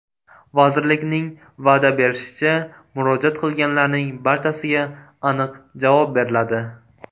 Vazirlikning va’da berishicha, murojaat qilganlarning barchasiga aniq javob beriladi.